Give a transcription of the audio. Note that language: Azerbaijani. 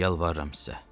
Yalvarıram sizə.